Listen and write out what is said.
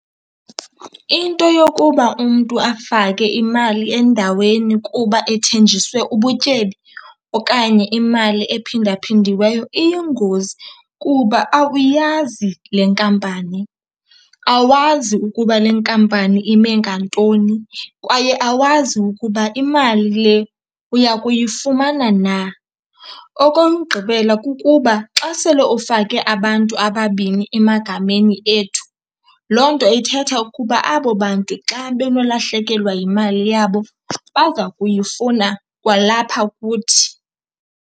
Into yokuba umntu afake imali endaweni kuba ethenjiswe ubutyebi okanye imali ephinda-phindiweyo iyingozi kuba awuyazi le nkampani, awazi ukuba le nkampani ime ngantoni kwaye awazi ukuba imali le uya kuyifumana na. Okokugqibela, kukuba xa sele ufake abantu ababini emagameni ethu, loo nto ithetha ukuba abo bantu xa benolahlekelwa yimali yabo baza kuyifuna kwalapha kuthi.